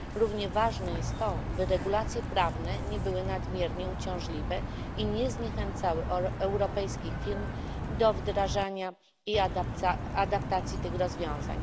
Równie ważne jest to, by regulacje prawne nie były nadmiernie uciążliwe i nie zniechęcały europejskich firm do wdrażania i adaptacji tych rozwiązań.